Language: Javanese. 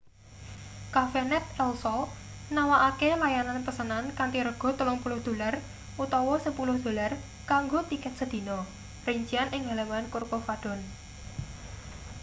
cafenet el sol nawakake layanan pesenan kanthi rega 30 dolar utawa 10 dolar kanggo tiket sedina rincian ing halaman corcovadone